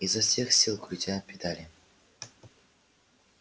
изо всех сил крутя педали